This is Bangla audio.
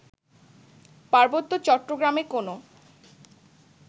পার্বত্য চট্টগ্রামে কোনো